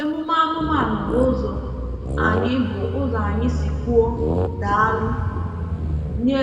Emume anụmanụ bụ ụzọ anyị bụ ụzọ anyị si kwuo “daalụ” nye